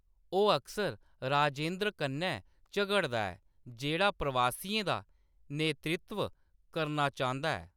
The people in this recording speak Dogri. ओह्‌‌ अक्सर राजेंद्र कन्नै झगड़दा ऐ, जेह्‌‌ड़ा प्रवासियें दा नेतृत्व करना चांह्‌‌‌दा ऐ।